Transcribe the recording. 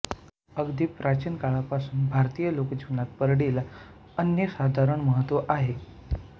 अगदी प्राचीन काळापासून भारतीय लोकजीवनात परडीला अनन्यसाधारण महत्त्व आहे